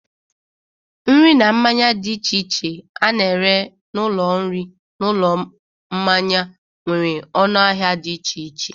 Nri na mmanya dị iche a na-ere n'ụlọ nri na n'ụlọ mmanya nwere ọnụ ahịa dị iche iche.